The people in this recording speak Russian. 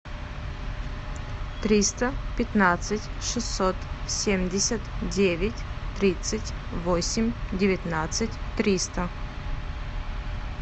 триста пятнадцать шестьсот семьдесят девять тридцать восемь девятнадцать триста